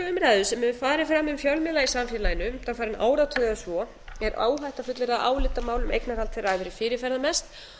umræðu sem hefur farið fram um fjölmiðla í samfélaginu undanfarinn áratug eða svo er óhætt að fullyrða að álitamál um eignarhald þeirra hafi verið fyrirferðarmest